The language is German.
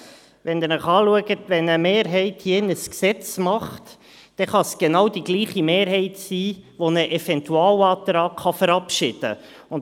Wenn Sie sich anschauen, wenn eine Mehrheit hier drin das Gesetz macht, kann es dieselbe Mehrheit sein, die einen Eventualantrag verabschieden kann.